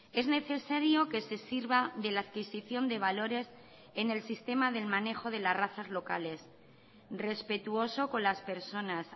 es necesario que se sirva de la adquisición de valores en el sistema del manejo de las razas locales respetuoso con las personas